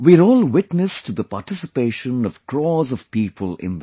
We are all witness to the participation of crores of people in them